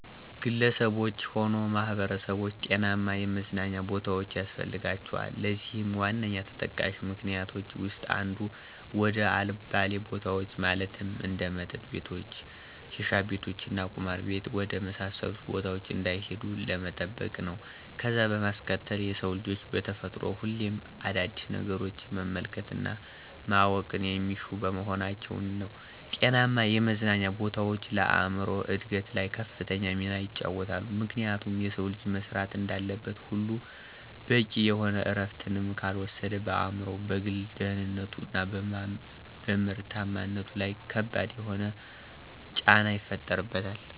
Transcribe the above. ግለሰቦች ሆነ ማህበረሰቦች ጤናማ የመዝናኛ ቦታዎች ያስፈልጋቸዋል። ለዚህም ዋነኛ ተጠቃሽ ምክኒያቶች ዉስጥ አንዱ፦ ወደ አልባሌ ቦታዎች ማለትም እንደ መጠጥ ቤቶች፣ ሽሻቤት እና ቁማር ቤት ወደ መሳሰሉት ቦታዎች እንዳይሄዱ ለመጠበቅ ነው። ከዛም በማስከተል የሰው ልጆች በተፈጥሮ ሁሌም አዳዲስ ነገሮችን መመልከት እና ማወቅን የሚሹ በመሆናቸው ነው። ጤናማ የመዝናኛ ቦታዎች ለአእምሮ እድገት ላይ ከፍተኛ ሚናን ይጫወታሉ፤ ምክንያቱም የሰው ልጅ መስራት እንዳለበት ሁሉ በቂ የሆነ እረፍትንም ካልወሰደ በአእምሮው፣ በግል ደህንነቱ፣ እና በምርታማነቱ ለይ ከባድ የሆነን ጫና ይፈጥርበታል።